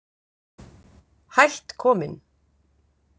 Hætt kominn